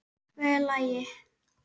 Hve lengi?